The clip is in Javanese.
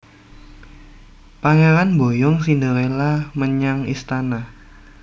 Pangéran mboyong Cinderella menyang istana